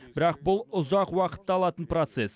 бірақ бұл ұзақ уақытты алатын процесс